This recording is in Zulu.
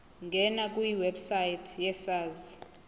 ngena kwiwebsite yesars